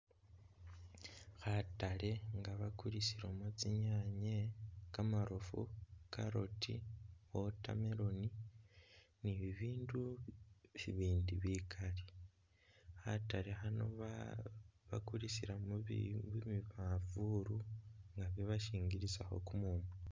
Khatale nga bakulisilamo tsinyaanye, kamarofu, carrot, watermelon ni'bibindu bibindi bikaali khatale khano bakulisila mubi manvulu nga bibashingilisakho kumumu